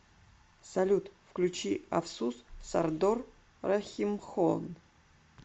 салют включи афсус сардор рахимхон